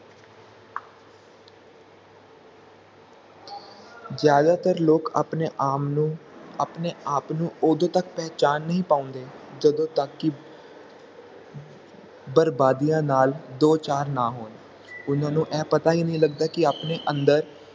ਜ਼ਿਆਦਾਤਰ ਲੋਕ ਆਪਣੇ ਆਮ ਨੂੰ ਆਪਣੇ ਆਪ ਨੂੰ ਓਦੋ ਤੱਕ ਪਹਿਚਾਣ ਹੀ ਨਹੀਂ ਪਾਉਂਦੇ ਜਦੋ ਤੱਕ ਕਿ ਬਰਬਾਦੀਆਂ ਨਾਲ ਦੋ ਚਾਰ ਨਾ ਹੋਣ ਓਹਨਾ ਨੂੰ ਇਹ ਪਤਾ ਹੀ ਨਹੀਂ ਲਗਦਾ ਕਿ ਆਪਣੇ ਅੰਦਰ